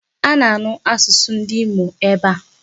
A na-anu asụsụ ndị Imo ebe a.